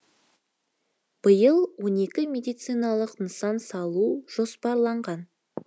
биыл он екі медициналық нысан салу жоспарланған